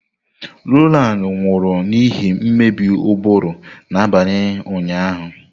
Rowland nwụrụ n'ihi mmebi ụbụrụ n'abalị ụnyaahụ.